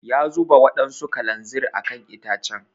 Ya zuba wadansu kalanzir a kan itacen.